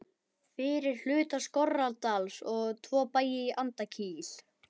fyrir hluta Skorradals og tvo bæi í Andakíl.